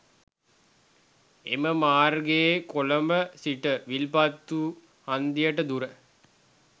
එම මාර්ගයේ කොළඹ සිට විල්පත්තු හන්දියට දුර